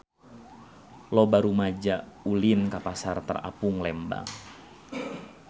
Loba rumaja ulin ka Pasar Terapung Lembang